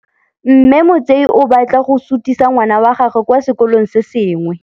Mme Motsei o batla go sutisa ngwana wa gagwe kwa sekolong se sengwe.